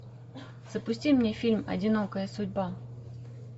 запусти мне фильм одинокая судьба